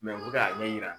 u bɛ k'a ɲɛ yira